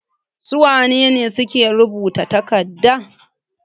Su wane ne suke rubuta takardan?